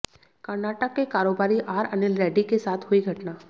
कर्नाटक के कारोबारी आर अनिल रेड्डी के साथ हुई घटना